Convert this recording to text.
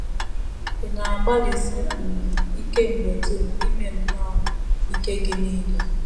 Ị̀ na - agbalịsi um ike mgbe dum ime nnọọ ike gị nile?